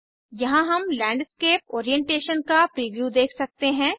यहाँ हम landscape orientation का प्रीव्यू देख सकते हैं